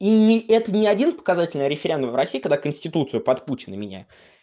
и это не один показательный референдум в россии когда конституция под путина меня